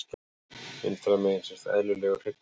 Vinstra megin sést eðlilegur hryggur.